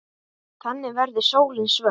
Þannig verður sólin svört.